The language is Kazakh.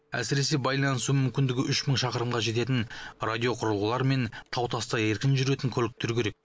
әсіресе байланысу мүмкіндігі үш мың шақырымға жететін радиоқұрылғылар мен тау таста еркін жүретін көліктер керек